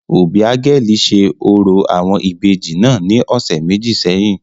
Obiageli ṣe orȯ awọn ibeji naa ni ọsẹ meji sẹhin.